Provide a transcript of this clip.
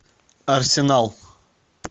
арсенал